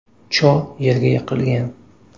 Cho yerga yiqilgan.